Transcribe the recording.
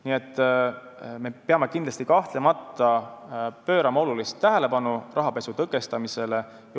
Nii et me peame kahtlemata pöörama tähelepanu rahapesu tõkestamisele.